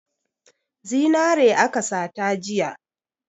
Zinare aka sata jiya.